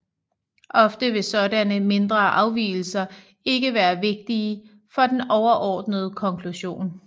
Ofte vil sådanne mindre afvigelser ikke være vigtige for den overordnede konklusion